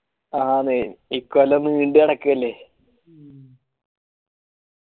ആണ് ഇക്കൊല്ലം നീണ്ട് കിടക്കേലെ